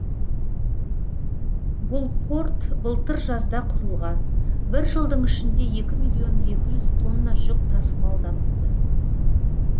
бұл порт былтыр жазда құрылған бір жылдың ішінде екі миллион екі жүз тонна жүк тасымалданыпты